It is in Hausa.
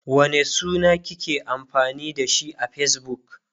wane suna kike amfani da shi a Facebook?